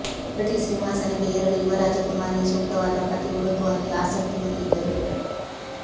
British ಸಿಂಹಾಸನಕ್ಕೆ ಏರಲು ಯುವ ರಾಜಕುಮಾರಿಯ ಸೂಕ್ತವಾದ ಪತಿ ಹುಡುಕುವಲ್ಲಿ ಆಸಕ್ತಿ ಹೊಂದಿದ್ದರು